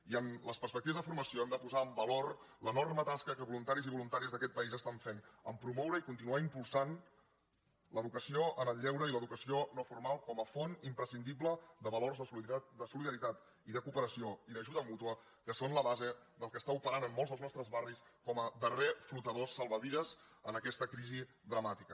i en les perspectives de formació hem de posar en valor l’enorme tasca que voluntaris i voluntàries d’aquest país estan fent a promoure i continuar impulsant l’educació en el lleure i l’educació no formal com a font imprescindible de valors de solidaritat de cooperació i d’ajuda mútua que són la base del que està operant en molts dels nostres barris com a darrer flotador salvavides en aquesta crisi dramàtica